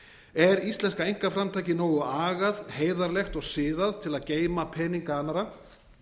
er íslenska einkaframtakið nógu agað heiðarlegt og siðað til að geyma peninga annarra